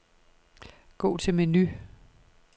Gå til menu.